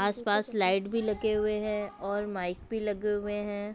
आस पास लाइट भी लगे हुए है और माइक भी लगे हुए हैं